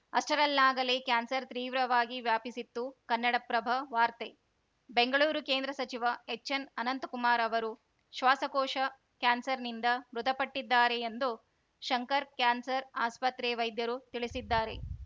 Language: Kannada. ಅಷ್ಟರಲ್ಲಾಗಲೇ ಕ್ಯಾನ್ಸರ್‌ ತ್ರೀವ್ರವಾಗಿ ವ್ಯಾಪಿಸಿತ್ತು ಕನ್ನಡಪ್ರಭ ವಾರ್ತೆ ಬೆಂಗಳೂರು ಕೇಂದ್ರ ಸಚಿವ ಎಚ್‌ಎನ್‌ ಅನಂತಕುಮಾರ್‌ ಅವರು ಶ್ವಾಸಕೋಶ ಕ್ಯಾನ್ಸರ್‌ನಿಂದ ಮೃತಪಟ್ಟಿದ್ದಾರೆ ಎಂದು ಶಂಕರ ಕ್ಯಾನ್ಸರ್‌ ಆಸ್ಪತ್ರೆ ವೈದ್ಯರು ತಿಳಿಸಿದ್ದಾರೆ